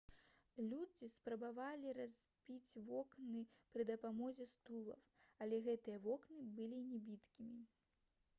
людзі спрабавалі разбіць вокны пры дапамозе стулаў але гэтыя вокны былі небіткімі